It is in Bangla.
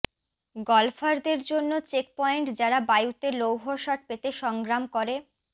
গল্ফারদের জন্য চেকপয়েন্ট যারা বায়ুতে লৌহ শট পেতে সংগ্রাম করে